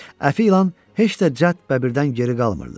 Əfi ilan heç də cəld Bəbirdən geri qalmırdı.